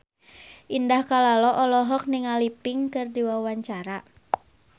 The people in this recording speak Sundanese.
Indah Kalalo olohok ningali Pink keur diwawancara